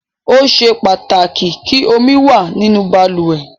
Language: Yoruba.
Ó ṣe pàtàkì kí omi wà nínú balùwẹ̀.